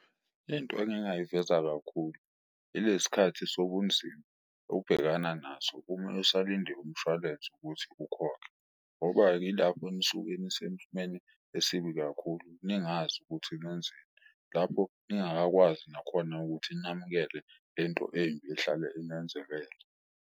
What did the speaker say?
Into engingayiveza kakhulu ile skhathi sobunzima obhekana naso uma usalinde umshwalense ukuthi ukhokhe ngoba-ke ilapho enisuke esibi kakhulu, ningazi ukuthi nenzeni. Lapho ningakakwazi nakhona ukuthi namukele lento embi ehlale inenzekele.